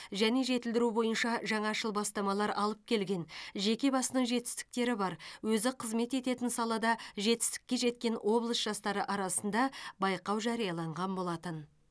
және жетілдіру бойынша жаңашыл бастамалар алып келген жеке басының жетістіктері бар өзі қызмет ететін салада жетістікке жеткен облыс жастары арасында байқау жарияланған болатын